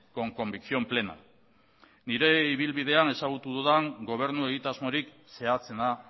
con convicción plena nire ibilbidean ezagutu dudan gobernu egitasmorik zehatzena